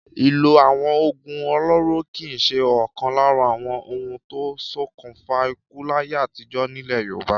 Ìlò àwọn òògùn olóró kì í ṣe ọ̀kan lára àwọn ohun tó ń ṣokùnfà ikú láyé àtijọ́ nílẹ̀ Yorùbá.